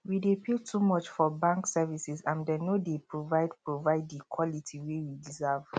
we dey pay too much for bank services and dem no dey provide provide di quality wey we deserve